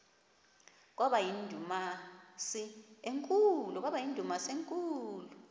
kwaba yindumasi enkulu